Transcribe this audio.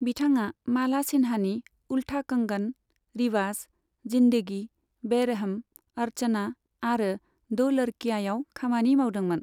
बिथाङा माला सिन्हानि उलथा कंगन, रिवाज, जिन्दगी, बेरहम, अर्चना आरो दो लड़कियायाव खामानि मावदोंमोन।